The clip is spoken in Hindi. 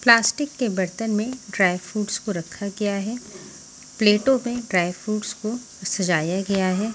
प्लास्टिक के बर्तन में ड्राई फ्रूट्स को रखा गया है प्लेटों में ड्राई फ्रूट्स को सजाया गया है।